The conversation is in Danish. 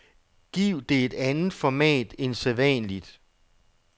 Giv det et andet format end sædvanligt.